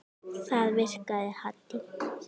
Það virkaði Haddý.